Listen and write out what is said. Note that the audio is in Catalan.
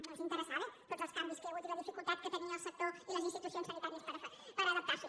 no els interessaven tots els canvis que hi ha hagut i la dificultat que tenien el sector i les institucions sanitàries per adaptar s’hi